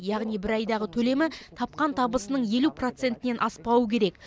яғни бір айдағы төлемі тапқан табысының елу процентінен аспауы керек